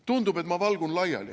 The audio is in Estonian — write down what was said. Tundub, et ma valgun laiali.